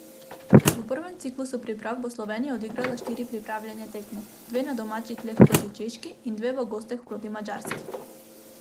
V prvem ciklusu priprav bo Slovenija odigrala štiri pripravljalne tekme, dve na domačih tleh proti Češki in dve v gosteh proti Madžarski.